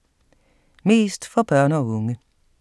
Mest for børn og unge